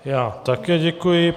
Já také děkuji.